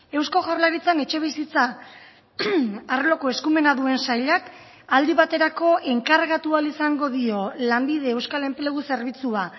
eusko jaurlaritzan etxebizitza arloko eskumena duen sailak aldi baterako enkargatu ahal izango dio lanbide euskal enplegu zerbitzua